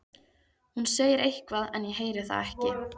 Hún segir eitthvað en ég heyri það ekki.